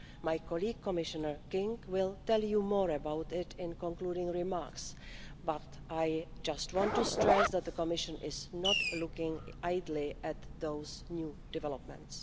My colleague, Commissioner King, will tell you more about this in the concluding remarks, but I just want to stress that the Commission is not looking idly at those new developments.